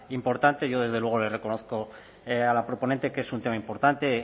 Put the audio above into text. importante yo desde luego le reconozco a la proponente que es un tema importante